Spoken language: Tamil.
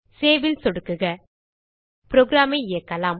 சேவ் ல் சொடுக்குக புரோகிராம் ஐ இயக்கலாம்